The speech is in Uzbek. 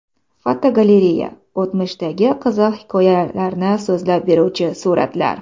Fotogalereya: O‘tmishdagi qiziq hikoyalarni so‘zlab beruvchi suratlar.